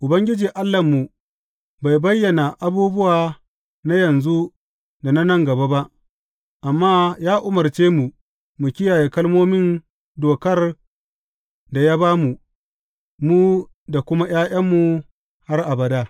Ubangiji Allahnmu bai bayyana abubuwa na yanzu da na nan gaba ba, amma ya umarce mu mu kiyaye kalmomin dokar da ya ba mu, mu da kuma ’ya’yanmu har abada.